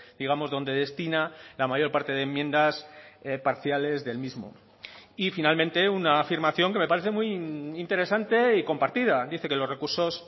digamos donde destina la mayor parte de enmiendas parciales del mismo y finalmente una afirmación que me parece muy interesante y compartida dice que los recursos